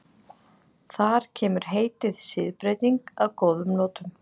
Þar kemur heitið siðbreyting að góðum notum.